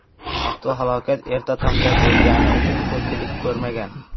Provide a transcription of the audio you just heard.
Avtohalokat erta tongda bo‘lgani uchun ko‘pchilik ko‘rmagan.